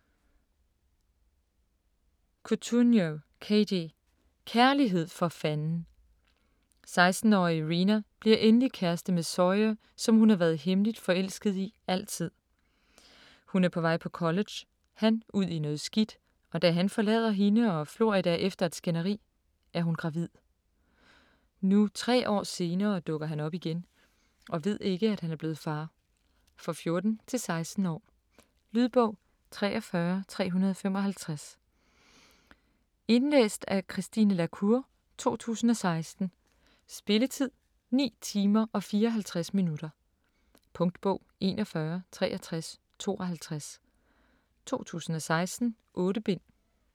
Cotugno, Katie: Kærlighed for fanden! 16-årige Reena bliver endelig kæreste med Sawyer, som hun har været hemmeligt forelsket i altid. Hun er på vej på college, han ud i noget skidt, og da han forlader hende og Florida efter et skænderi, er hun gravid. Nu tre år senere dukker han op igen og ved ikke, at han er blevet far. For 14-16 år. Lydbog 43355 Indlæst af Christine la Cour, 2016. Spilletid: 9 timer, 54 minutter. Punktbog 416352 2016. 8 bind.